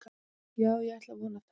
Já ég ætla að vona það.